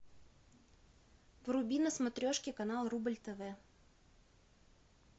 вруби на смотрешке канал рубль тв